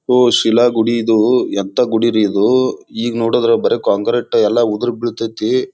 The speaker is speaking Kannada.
ಹೊ ಶಿಲಾಗುಡಿ ಇದು ಎಂಥಾ ಗುಡಿ ರೀ ಇದು ಈಗ ನೋಡಿದ್ರೆ ಬರೇ ಕಾಂಕ್ರೀಟ್ ಎಲ್ಲಾ ಉದುರ್ ಬೀಳ್ತಾಯಿತಿ.